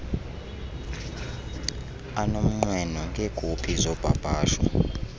anomnqweno ngeekopi zopapasho